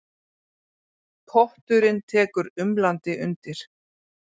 Potturinn tekur umlandi undir.